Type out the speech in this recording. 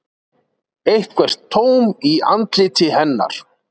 Eitthvert tóm í andliti hennar.